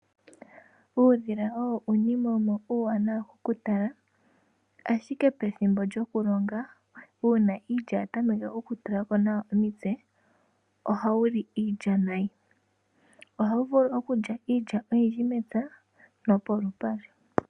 Uudhila owo uunima wumwe uuwanawa oku tala, ashike pethimbo lyokulonga uuna iilya ya tameke oku tulako omitse, oha wuli iilya nayi. Oha wu vulu okulya iilya oyindji mepya, no polupale.